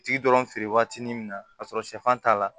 Tigi dɔrɔn feere waati ni min na k'a sɔrɔ sɛfan t'a la